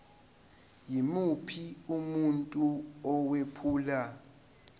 yimuphi umuntu owephula